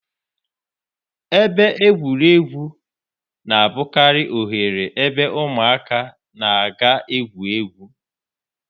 Ebe egwuregwu na-abụkarị oghere ebe ụmụaka na-aga igwu égwú.